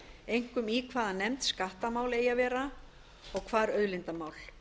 einkum í hvaða nefnd skattamál eigi að vera og hvar auðlindamál